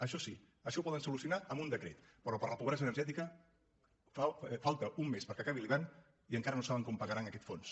això sí això ho poden solucionar amb un decret però per a la pobresa energètica falta un mes perquè acabi l’hivern i encara no saben com pagaran aquest fons